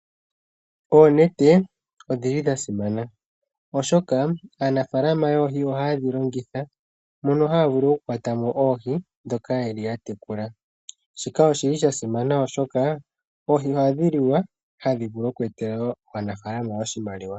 Oonete odhili dha simana oshoka aanafaalama yoohi ohayedhi longitha. Mono haya vulu oku kwatamo oohi ndhoka yatekula. Shika oshili sha simana oshoka oohi ohadhi liwa. Ohadhi vulu woo oku etela aanafaalama oshimaliwa.